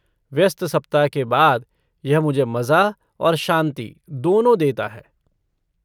व्यस्त सप्ताह के बाद यह मुझे मज़ा और शांति दोनों देता है।